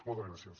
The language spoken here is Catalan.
moltes gràcies